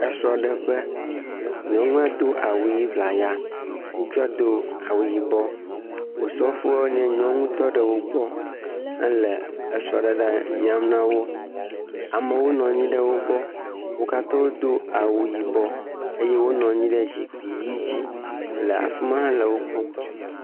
Esrɔ̃ ɖe ƒe. Nyɔnua Do awu ɣi ʋlaya. Ŋutsua Do awu yibɔ, Osɔfoa nye nyɔnu tɔ ɖe wogbɔ he le srɔ̃ɖeɖe yram nawò. Amewo nɔ anyi